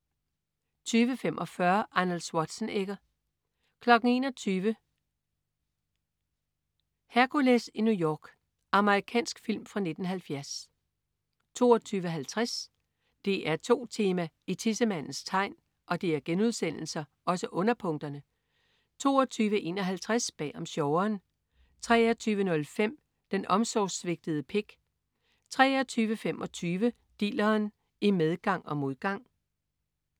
20.45 Arnold Schwarzenegger 21.00 Hercules i New York. Amerikansk film fra 1970 22.50 DR2 Tema: I tissemandens tegn* 22.51 Bag om sjoveren I* 23.05 Den omsorgssvigtede pik* 23.25 Dilleren. I medgang og modgang*